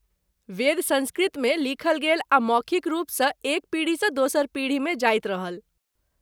वेद सँस्कृतमे लिखल गेल आ मौखिक रूपसँ एक पीढ़ीसँ दोसर पीढ़ीमे जाइत रहल।